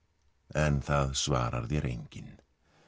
en það svarar þér enginn